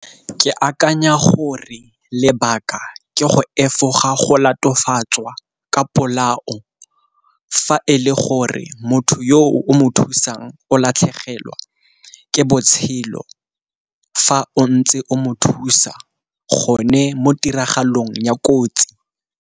Ke akanya gore lebaka ke go efoga go latofadiwtswa ka polao, fa e le gore motho yo o mo thusang o latlhegelwa ke botshelo fa o ntse o mo thusa gone mo tiragalong ya kotsi.